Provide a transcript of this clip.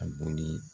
A boli